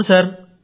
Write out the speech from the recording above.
అవును సార్